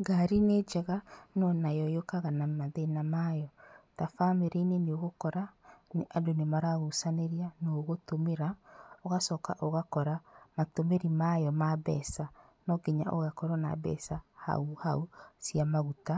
Ngari nĩ njega no nayo yũkaga na mathĩna mayo, ta bamĩrĩ-inĩ nĩ ũgũkora andũ nĩ maragucanĩria nĩ ũgũtũmĩra, ũgacoka ũgakora matũmĩri mayo ma mbeca. No nginya ũgakorwo na mbeca hau hau cia maguta